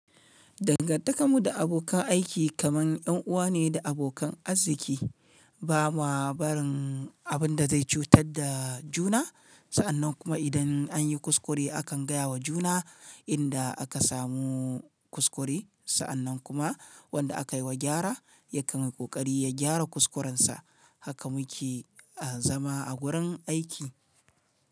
Dangantakarmu da abokan aiki kamar ‘yan uwa ne da abokan arziki, ba ma barin abin da zai cutar da juna. Sa'annan kuma idan an yi kuskure akan gaya wa juna inda aka samu kuskure, sa'annan kuma wanda aka yi wa gyara ya kanyi kokari ya gyara kuskurensa. Haka muke a zama a gurin aiki.